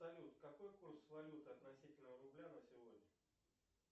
салют какой курс валюты относительно рубля на сегодня